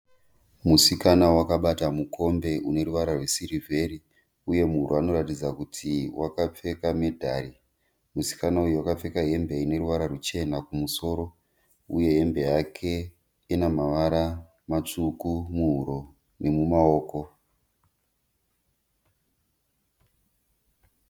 Musikana akabata mukombe uneruvara rwesirivheri uye anoratidza kuti akapfeka medhari, musikana uyu akapfeka hembe ineruvara ruchena kumusoro uye hembe yake inemavara matsvuku muhuro nemumaoko.